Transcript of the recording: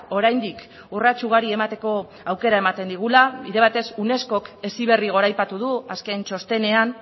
oraindik urrats ugari emateko aukera ematen digula bide batez unescok heziberri goraipatu du azken txostenean